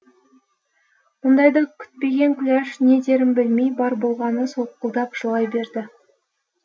мұндайды күтпеген күләш не дерін білмей бар болғаны солқылдап жылай берді